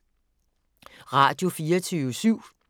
Radio24syv